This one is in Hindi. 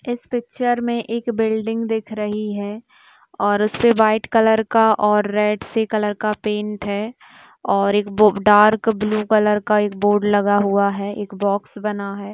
इस पिक्चर मे एक बिल्डिंग दिख रही है और उस पे व्हाइट कलर का ओर रेड से कलर का पैंट है ओर एक बो डार्क ब्लू कलर का एक बोर्ड लगा हुआ है एक बॉक्स बना है।